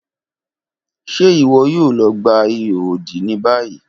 Ṣe iwọ yoo lọ gba iho odi ni bayi?